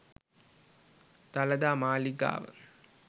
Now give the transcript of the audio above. dalada maligawa